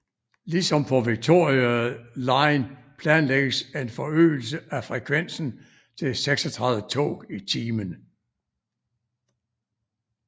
Ligesom på Victoria line planlægges en forøgelse af frekvensen til 36 tog i timen